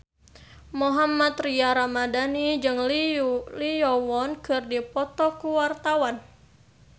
Mohammad Tria Ramadhani jeung Lee Yo Won keur dipoto ku wartawan